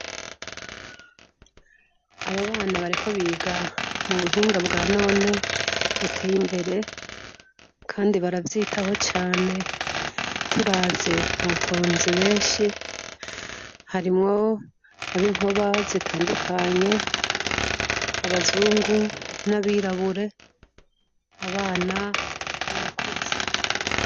aba bana bariko biga mubuhinga bwa none buteye imbere kandi baravyitaho cane turavye hatonze benshi harimwo abinkoba zitandukanye harimwo abazungu nabirabure abana nabakuze